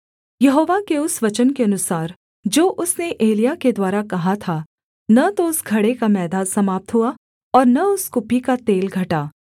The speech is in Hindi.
यहोवा के उस वचन के अनुसार जो उसने एलिय्याह के द्वारा कहा था न तो उस घड़े का मैदा समाप्त हुआ और न उस कुप्पी का तेल घटा